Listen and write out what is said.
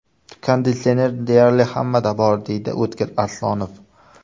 Konditsioner deyarli hammada bor”, deydi O‘tkir Aslonov.